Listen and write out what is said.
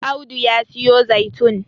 Audu ya siyo zaitun